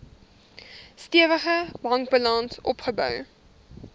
stewige bankbalans opgebou